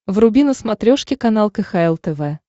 вруби на смотрешке канал кхл тв